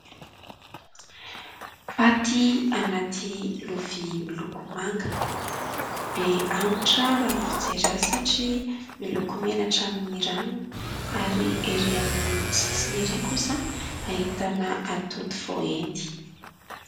Paty anaty lovia miloko manga, be anitra raha ny fijery azy, satria miloko mena hatramin'ny ranony ary erỳ amin'ny sisiny ery kosa ahitana atody voaendy.